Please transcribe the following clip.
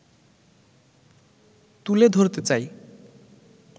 তুলে ধরতে চাই